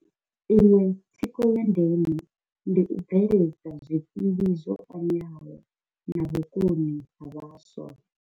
Iṅwe thikho ya ndeme ndi u bveledza zwikili zwo fanelaho na vhukoni ha vhaswa.